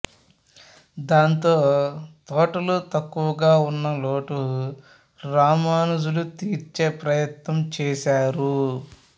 దాంతో తోటలు తక్కువగా ఉన్న లోటు రామానుజులు తీర్చే ప్రయత్నం చేశారు